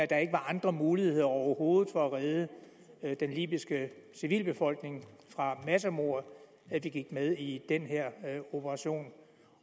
der ikke var andre muligheder overhovedet for at redde den libyske civilbefolkning fra massemord at vi gik med i den her operation